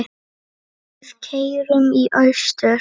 Við keyrum í austur